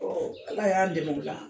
Ɔ ala y'an dɛmɛ o la